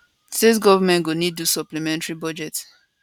state goments go need do supplementary budget